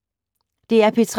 DR P3